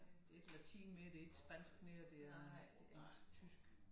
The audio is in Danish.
Det ikke latin mere det ikke spansk mere det er det engelsk tysk